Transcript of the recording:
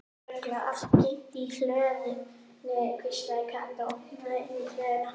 Það er örugglega allt geymt í hlöðunni hvíslaði Kata og opnaði inn í hlöðuna.